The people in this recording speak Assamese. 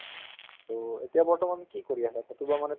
to এতিয়া বৰ্তমান কি কৰি আছা কৰবাত মানে